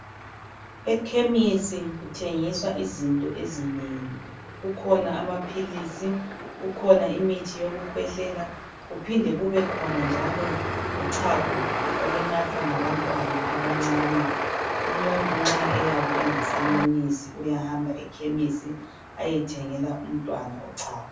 Ekhemisi kuthengiswa izinto ezinengi kukhona amapills kukhona imithi yokukhwehlela kuphinde kukhona uchago olunathwa ngabantwana abancane umuntu nxa eyabe engasamunyisi uyahamba ekhemisi eyethengela umntwana uchago